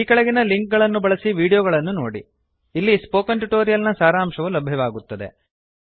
ಈ ಕೆಳಗಿನ ಲಿಂಕ್ ಗಳನ್ನು ಬಳಸಿ ವೀಡಿಯೋಗಳನ್ನು ನೋಡಿ ಅಲ್ಲಿ ಸ್ಪೋಕನ್ ಟ್ಯುಟೋರಿಯಲ್ ನ ಸಾರಾಂಶವು ಲಭ್ಯವಾಗುತ್ತದೆ